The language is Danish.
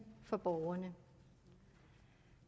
for borgerne